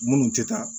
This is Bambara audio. Munnu tɛ taa